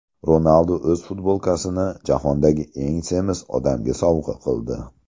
Ronaldu o‘z futbolkasini jahondagi eng semiz odamga sovg‘a qildi.